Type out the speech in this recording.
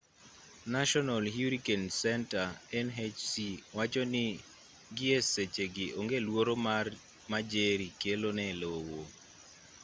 national hurricane center nhc wacho ni gi e seche gi onge luoro ma jerry kelo ne lowo